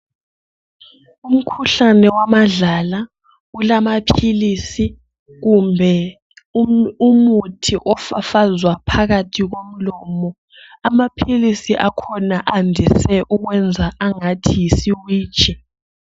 Umkhuhlane wamadlala ulamaphilisi kumbe umuthi ofafazwa phakathi komlomo. Amaphilisi wakhona andise ukwenza angathi yisiwiji.